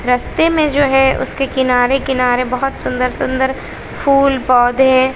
रस्ते में जो हैं उसके किनारे किनारे बहुत सुंदर सुंदर फूल पौधे--